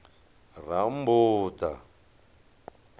rammbuḓa